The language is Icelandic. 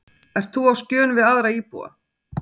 Ert þú á skjön við aðra íbúa?